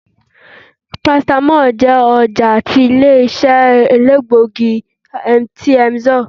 paracetamol jẹ ọja tí ilé-iṣẹ́ èlégbógí tí emzor